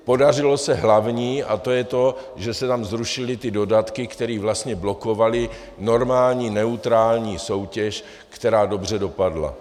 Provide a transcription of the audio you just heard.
Podařilo se hlavní, a to je to, že se tam zrušily ty dodatky, které vlastně blokovaly normální neutrální soutěž, která dobře dopadla.